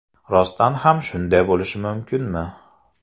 Rostdan ham shunday bo‘lishi mumkinmi?